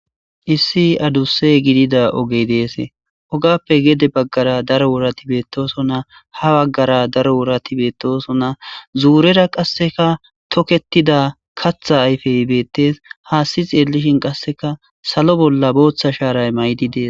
Issi adise gidida ogey Des, ogappe gede bagara daro worati betosona, ha bagara daro worati betosona, zurara qaseka toketida katha ayfey beetes,hasi xelishn qaseka salo bolla bootha sharay mayidi Des.